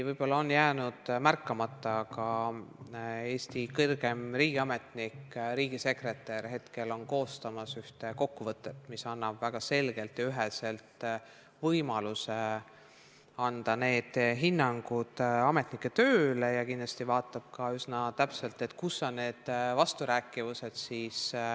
Võib-olla on teil märkamata jäänud, aga Eesti kõrgeim riigiametnik, riigisekretär, on hetkel koostamas ühte kokkuvõtet, mis annab väga selgelt ja üheselt võimaluse anda ametnike tööle hinnangu, ja kindlasti vaatab ta üsna täpselt järele, kus on ministri töös vasturääkivused.